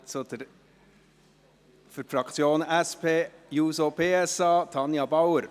Für die Fraktion SP-JUSO-PSA: Tanja Bauer.